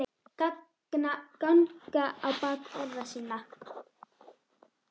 ganga á bak orða sinna